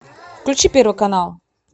включи первый канал